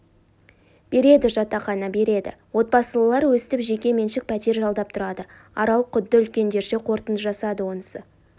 береді жатақхана береді отбасылылар өстіп жеке меншік пәтер жалдап тұрады арал құдды үлкендерше қорытынды жасады онысы